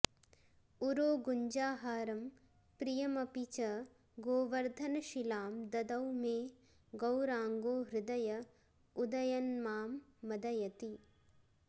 उरोगुञ्जाहारं प्रियमपि च गोवर्धनशिलां ददौ मे गौराङ्गो हृदय उदयन्मां मदयति